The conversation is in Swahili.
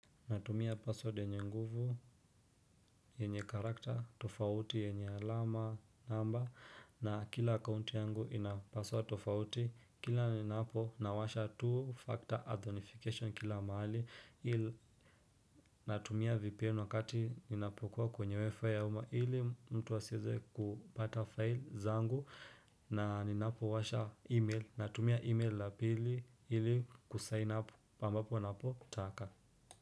Natumia password yenye nguvu yenye karakter tofauti yenye alama namba na kila account yangu inapaswa tofauti kila ninapo nawasha two factor authentication kila mahali ili natumia vpn wakati ninapokuwa kwenye wifi ya uma ili mtu asiweze kupata file zangu na ninapowasha email natumia email la pili ili kusign up pambapo napotaka.